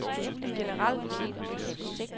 generelt